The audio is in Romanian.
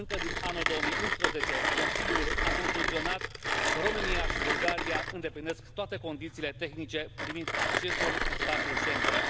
Încă din anul 2011, Consiliul a concluzionat că Romania și Bulgaria îndeplinesc toate condițiile tehnice privind accesul în spațiul Schengen.